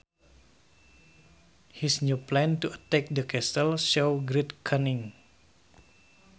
His new plan to attack the castle showed great cunning